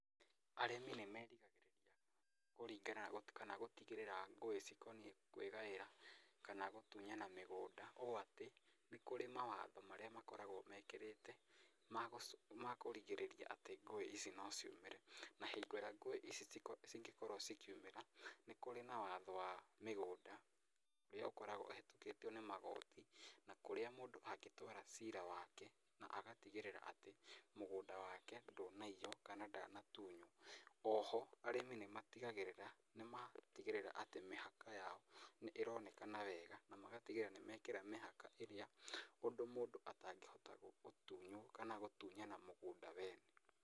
Arĩmi nĩ merigagĩrĩria kũringana kana gũtigĩrĩra ngũĩ cikoniĩ kwĩgaĩra kana gũtunyana mĩgũnda, ũũ atĩ nĩ kũrĩ mawatho marĩa makoragwo mekĩrĩte ma kũrigĩrĩria atĩ ngũĩ ici no ciumĩre. Na hingo ĩrĩa ngũĩ ici cingĩkorwo cikiumĩra nĩ kũrĩ na watho wa mĩgũnda ũrĩa ũkoragwo ũhĩtũkĩtio nĩ magoti na kũrĩa mũndũ angĩtwara cira wake na agatigĩrĩra atĩ mũngũnda wake ndũnaiywo kana ndanatunywo. Oho arĩmĩ nĩ matigagĩrĩra nĩma tigĩrĩra atĩ mĩhaka yao nĩ ĩronekana wega na magatigĩrĩra nĩ mekĩra mĩhaka ĩrĩa ũrĩa mũndũ atangĩhota gũtunywo kana gũtunyana mũgũnda wene.